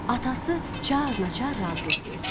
Atası çarnaçar razılıq verdi.